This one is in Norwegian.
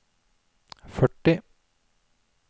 førti